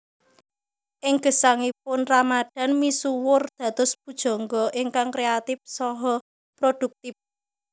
Ing gesangipun Ramadan misuwur dados pujangga ingkang kreatip saha produktip